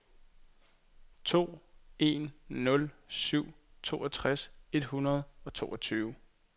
to en nul syv toogtres et hundrede og toogtyve